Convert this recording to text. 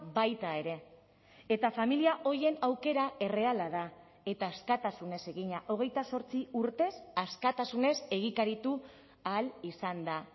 baita ere eta familia horien aukera erreala da eta askatasunez egina hogeita zortzi urtez askatasunez egikaritu ahal izan da